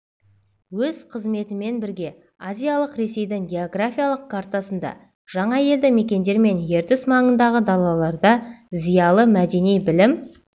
өз қызметімен бірге азиялық ресейдің географиялық картасында жаңа елді-мекендер мен ертіс маңындағы далаларда зиялы мәдени білім